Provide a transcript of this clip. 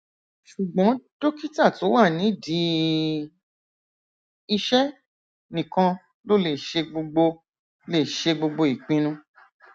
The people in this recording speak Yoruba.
ṣùgbọn dókítà tó wà nídìí iṣẹ nìkan ló lè ṣe gbogbo lè ṣe gbogbo ìpinnu